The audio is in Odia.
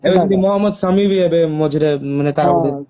ସେମିତି ମହମଦ ସାମୀ ବି ଏବେ ମଝିରେ ତାର